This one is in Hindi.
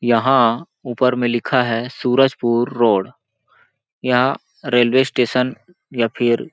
यहाँ ऊपर में लिखा है सूरजपुर रोड यहाँ रेलवे स्टेशन या फिर --